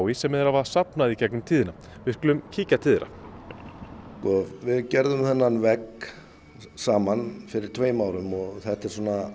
sem þeir hafa safnað í gegnum tíðina við skulum kíkja til þeirra sko við gerðum þennan vegg saman fyrir tveimur árum og þetta er